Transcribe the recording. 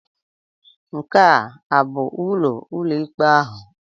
Nke a abụ ụlọ ụlọikpe ahụ?